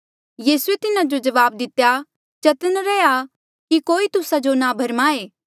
यीसूए तिन्हा जो जवाब दितेया चतन्न रैहया कि कोई तुस्सा जो ना भरमाए